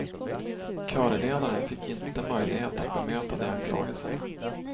Körledaren fick inte möjlighet att bemöta de anklagelserna.